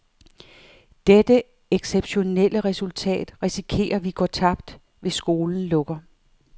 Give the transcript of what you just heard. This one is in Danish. Dette exceptionelle resultat risikerer vi går tabt, hvis skolen lukker.